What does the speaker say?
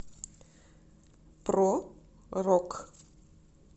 про рок